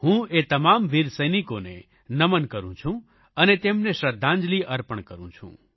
હું એ તમામ વીર સૈનિકોને નમન કરૂં છું અને તેમને શ્રદ્ધાંજલિ અર્પણ કરૂં છું